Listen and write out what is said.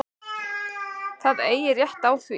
Það eigi rétt á því.